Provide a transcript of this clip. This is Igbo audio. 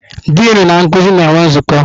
Dịnụ na nkuzi na-enwe nzukọ.